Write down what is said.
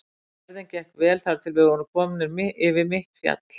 Ferðin gekk vel þar til við vorum komnir yfir mitt fjall.